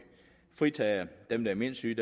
fritager dem der er mindst syge